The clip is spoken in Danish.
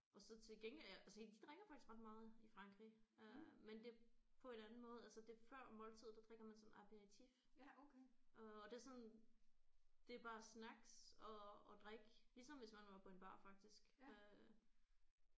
Og så til gengæld ja se de drikker faktisk ret meget i Frankrig øh men det på en anden måde altså det er før måltidet der drikker man sådan aperitif øh og det er sådan det er bare snacks og og drik ligesom hvis man var på en bar faktisk øh